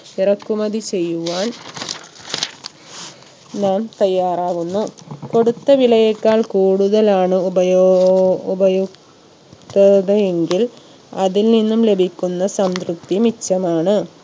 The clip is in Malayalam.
ഇറക്കുമതി ചെയ്യുവാൻ നാം തയ്യാറാവുന്നു കൊടുത്ത വിലയേക്കാൾ കൂടുതലാണ് ഉപയോ ഏർ ഉപയുക്തത എങ്കിൽ അതിൽ നിന്നും ലഭിക്കുന്ന സംതൃപ്തി മിച്ചമാണ്‌